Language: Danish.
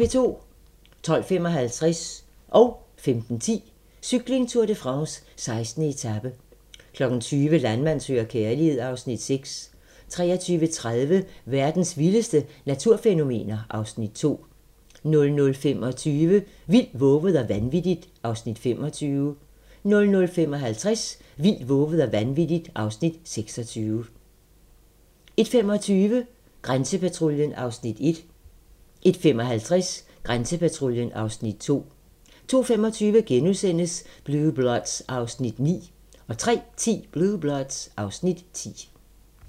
12:55: Cykling: Tour de France - 16. etape 15:10: Cykling: Tour de France - 16. etape 20:00: Landmand søger kærlighed (Afs. 6) 23:30: Verdens vildeste naturfænomener (Afs. 2) 00:25: Vildt, vovet og vanvittigt (Afs. 25) 00:55: Vildt, vovet og vanvittigt (Afs. 26) 01:25: Grænsepatruljen (Afs. 1) 01:55: Grænsepatruljen (Afs. 2) 02:25: Blue Bloods (Afs. 9)* 03:10: Blue Bloods (Afs. 10)